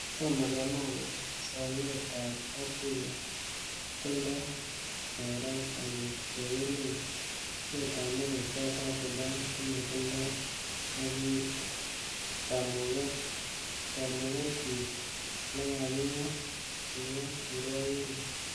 'Tomo kemwa kele somet en kapkirwok kotindo borot angot ko emetab Murot Katam Sudan komotindoi kamugget kit nekakingat,''kingat kirwokindet